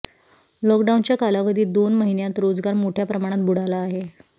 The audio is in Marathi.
लॉकडाऊनच्या कालावधीत दोन महिन्यांत रोजगार मोठ्या प्रमाणात बुडाला आहे